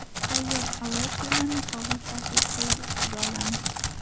Tayyor oladyilarni qog‘oz salfetkalar ustiga olamiz.